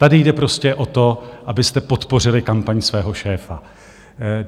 Tady jde prostě o to, abyste podpořili kampaň svého šéfa.